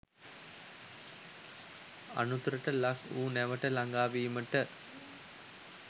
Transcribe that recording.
අනතුරට ලක් වූ නැවට ලඟා වීමට